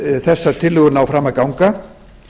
ef þessar tillögur ná fram að ganga